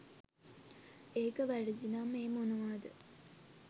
ඒක වැරදි නම් ඒ මොනවාද